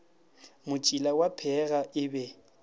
motšila wa pheega e be